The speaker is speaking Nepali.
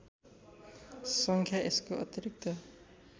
सङ्ख्या यसको अतिरिक्त